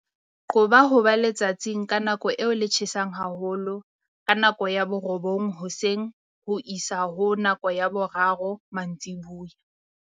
Qoba ho ba letsatsing ka nako eo le tjhesang haholo ka nako ya 9:00 hoseng ho isa ho ya 3:00 mantsiboya.